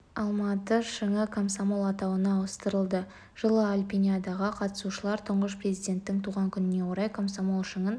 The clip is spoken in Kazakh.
алматы шыңы комсомол атауына ауыстырылды жылы альпиниадаға қатысушылар тұңғыш президенттің туған күніне орай комсомол шыңын